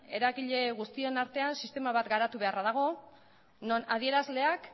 eragile guztion artean sistema bat garatu beharra dago non adierazleak